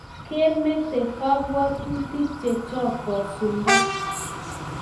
Mat ke mete kabuatutik chechok kosulda